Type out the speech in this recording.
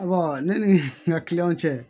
ne ni n ka kiliyanw cɛ